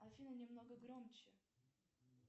афина немного громче